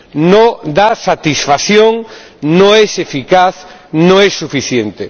No da satisfacción, no es eficaz, no es suficiente.